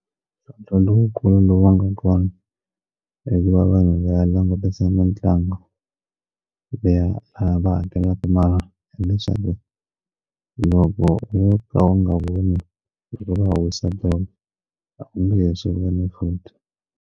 Mintlhontlho lowukulu lowu nga kona leyi va vanhu va langutisa mitlangu liya a va hakelaka mara ende leswaku loko u n'wi ka u nga humi loko va wisa goal lomu leswi vona futhi.